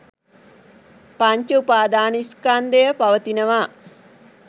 පංච උපාදාන ස්කන්ධය පවතිනවා